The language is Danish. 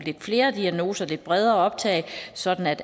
flere diagnoser et lidt bredere optag sådan at